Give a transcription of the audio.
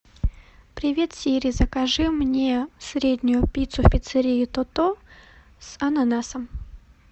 привет сири закажи мне среднюю пиццу в пиццерии то то с ананасом